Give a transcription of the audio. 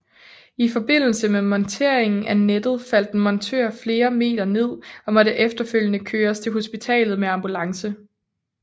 I forbindelse med monteringen af nettet faldt en montør flere meter ned og måtte efterfølgende køres til hospitalet med ambulance